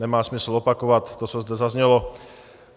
Nemá smysl opakovat to, co zde zaznělo.